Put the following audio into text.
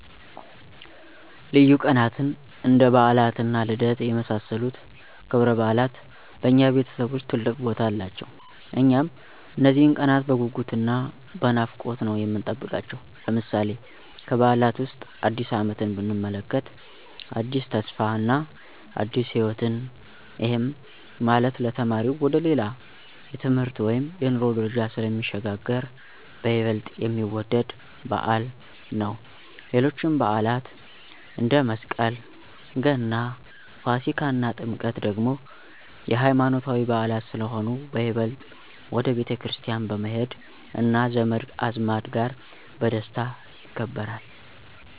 ልዩ ቀናትን እንደ በዓላት እና ልደት የመሳሰሉት ክብረበዓላት በእኛ ቤተሰብ ውስጥ ትልቅ ቦታ አላቸው። እኛም እነዚህን ቀናት በጉጉት እና በናፍቆት ነው የምንጠብቃቸው። ለምሳሌ፦ ከበዓላት ዉስጥ አዲስ አመትን ብንመለከት አዲስ ተስፋ እና አዲስ ህይወትን፤ ይሄም ማለት ለተማሪው ወደ ሌላ የትምህርት ወይም የኑሮ ደረጃ ስለሚሸጋገር በይበልጥ የሚወደድ በዓል ነው። ሌሎችም በዓላት አንደ፦ መስቀል፣ ገና፣ ፋሲካ እና ጥምቀት ደግሞ የሃይማኖታዊ በዓላት ስለሆኑ በይበልጥ ወደ ቤተክርስቲያን በመሄድ እና ዘመድ አዝማድ ጋር በደስታ ይከበራል።